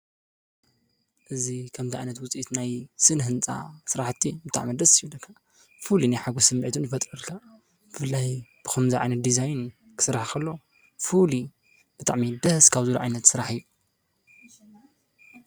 እዚ ከምዚ ዓይነት ውፅኢት ናይ ስነ ህንፃ ስራሕቲ ብጣዕሚ ደስ ይብለካ። ፍሉይ ናይ ሓጎስ ስሚዒት እውን ይፈጡሩልካ። ብፍላይ ከምዚ ዓይነት ዲዛይን ክስራሕ ከሎ ፍሉይ ብጣዕሚ ደስ ካብ ዝብሉ ዓይነት ስራሕ እዩ።